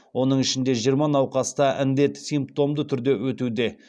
оның ішінде жиырма науқаста індет симптомды түрде өтуде